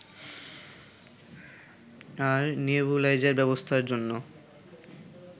আর nebuliser ব্যবস্থার জন্য